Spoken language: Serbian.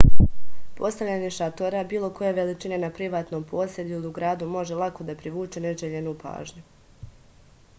postavljanje šatora bilo koje veličine na privatnom posedu ili u gradu može lako da privuče neželjenu pažnju